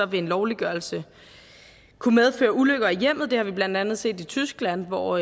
vil en lovliggørelse kunne medføre ulykker i hjemmet det har vi blandt andet set i tyskland hvor